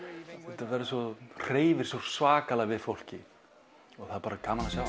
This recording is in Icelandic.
þetta hreyfir svo svakalega við fólki og það er bara gaman að sjá